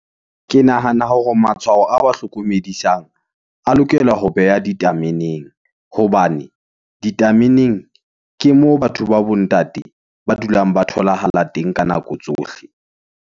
Ke nahana hore matshwao a wa hlokomedisang, a lokela ho beha ditameneng, hobane ditameneng, ke moo batho ba bo ntate, ba dulang ba tholahala teng ka nako tsohle.